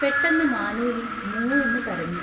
പെട്ടെന്ന് മാനൂലി മൂ എന്ന് കരഞ്ഞു.